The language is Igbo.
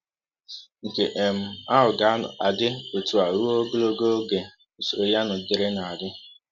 Nke um ahụ ga - adị ọtụ a rụọ ọgọlọgọ ọge usọrọ ihe a nọgidere na - adị.